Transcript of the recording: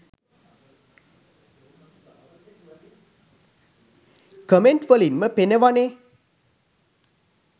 Comment වලින්ම පෙනවනේ.